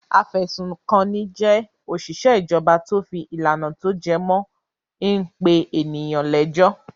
Afẹ̀sùnkanni jẹ́ òṣìṣẹ́ ìjọba tó fi ìlànà tó jẹ mó in pé ènìyàn lẹ́jọ́.